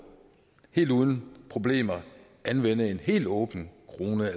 helt uden problemer anvende en helt åben krone